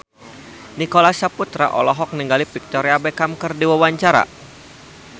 Nicholas Saputra olohok ningali Victoria Beckham keur diwawancara